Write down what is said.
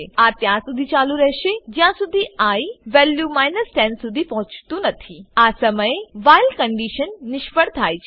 આ ત્યારસુધી ચાલુ રહે છે જ્યાંસુધી આઇ વેલ્યુ 10 સુધી પહોંચતું નથી આ સમયે વ્હાઈલ કંડીશન નિષ્ફળ જાય છે